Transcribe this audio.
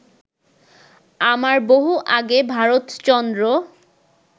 আমার বহু আগে ভারতচন্দ্র